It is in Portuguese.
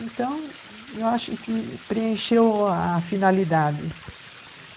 Então, eu acho que preencheu a a finalidade.